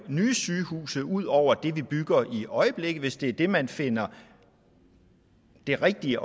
nye sygehuse ud over dem vi bygger i øjeblikket hvis det er det man finder er det rigtige